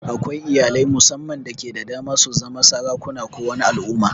Akwai iyalai mussaman dake da dama su zama sarakuna ko wani al'umma.